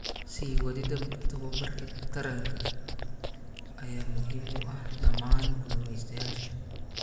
Sii wadida tababarka taranka ayaa muhiim u ah dhammaan Kalumestayasha.